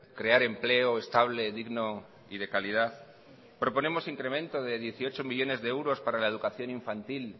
crear empleo estable digno y de calidad proponemos incremento de dieciocho millónes de euros para la educación infantil